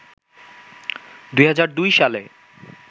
২০০২ সালে